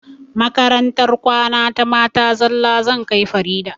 Makarantar kwana ta mata zalla zan kai farida